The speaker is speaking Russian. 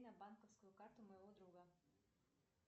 на банковскую карту моего друга